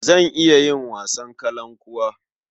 Zan iya yin wasan kalankuwa.